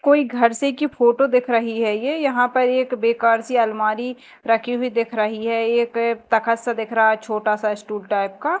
कोई घर से की फोटो देख रही है ये यहां पर एक बेकार सी अलमारी रखी हुई दिख रही है ये तख्त सा दिख रहा है छोटा सा स्टूल टाइप का।